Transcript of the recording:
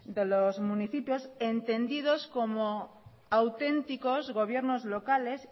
de los municipios entendidos como auténticos gobiernos locales